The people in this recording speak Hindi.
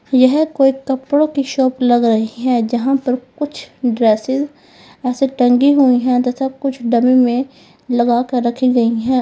यह कोई कपड़ों की शॉप लग रही है जहां पर कुछ ड्रेसेज ऐसे टंगी हुई है तथा कुछ डमी में लगा कर रखी गई है।